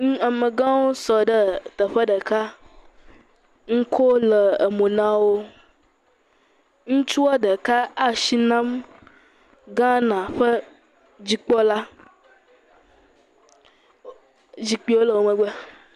Mm, amegãwo sɔ ɖee teƒe ɖeka. Nuko le emo na wo. Ŋutsua ɖeka e ashi nam Ghana ƒe dzikpɔla. Zikpiwo le wo megbe.